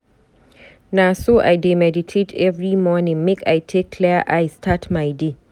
Na so I dey meditate every morning make I take clear eye start my day.